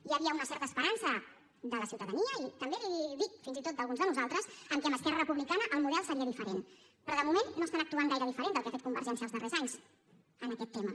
hi havia una certa esperança de la ciutadania i també l’hi dic fins i tot d’alguns de nosaltres en el fet que amb esquerra republicana el model seria diferent però de moment no estan actuant gaire diferent del que ha fet convergència els darrers anys en aquest tema